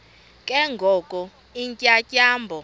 ke ngoko iintyatyambo